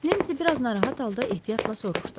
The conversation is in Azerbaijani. Nensi biraz narahat halda ehtiyatla soruşdu.